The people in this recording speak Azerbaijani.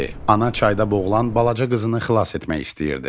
Ana çayda boğulan balaca qızını xilas etmək istəyirdi.